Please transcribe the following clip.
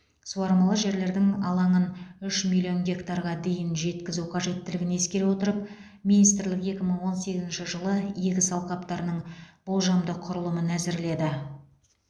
суармалы жерлердің алаңын үш миллион гектарға дейін жеткізу қажеттілігін ескере отырып министрлік екі мың он сегізінші жылы егіс алқаптарының болжамды құрылымын әзірледі